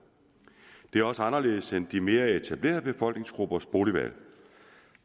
det er også anderledes end de mere etablerede befolkningsgruppers boligvalg